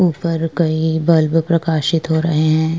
ऊपर कहीं बल्ब प्रकाशित हो रहे हैं।